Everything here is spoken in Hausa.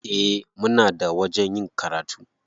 Eh, muna da wajen yin karatu.